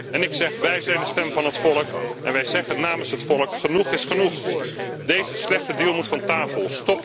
En ik zeg wij zijn de stem van het volk en wij zeggen namens het volk genoeg is genoeg! Deze slechte deal moet van tafel!